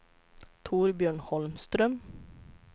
Torbjörn Holmström